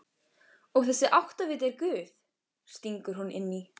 Og þessi áttaviti er Guð, stingur hún inn í.